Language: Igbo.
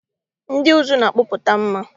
Ndị ụzụ na-akpụpụta mmà.